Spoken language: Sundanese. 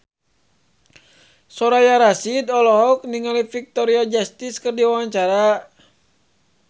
Soraya Rasyid olohok ningali Victoria Justice keur diwawancara